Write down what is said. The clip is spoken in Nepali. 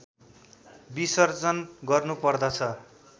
बिसर्जन गर्नुपर्दछ